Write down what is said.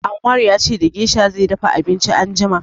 Anwar ya ce da gesha zai dafa abinci anjima.